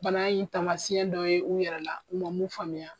Bana in tamasiyɛn dɔ ye u yɛrɛ la u ma mun faamuya